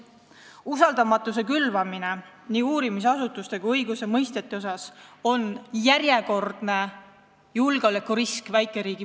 Ning kui külvatakse usaldamatust nii uurimisasutuste kui õigusemõistjate vastu, siis on see väikeriigile suur julgeolekurisk.